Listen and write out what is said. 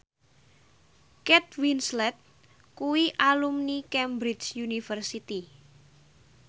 Kate Winslet kuwi alumni Cambridge University